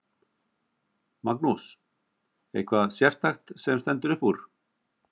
Magnús: Eitthvað sérstakt sem stendur upp úr?